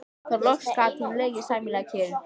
Þá loks gat hún legið sæmilega kyrr.